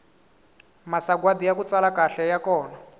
masagwadi yaku tsala kahle ya kona